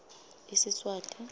isiswati